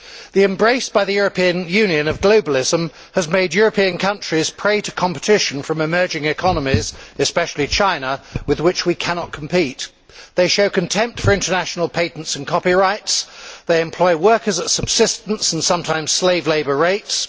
The embrace by the European Union of globalism has made European countries prey to competition from emerging economies, especially China, with which we cannot compete. These economies show contempt for international patents and copyrights, they employ workers at subsistence, and sometimes slave labour, rates.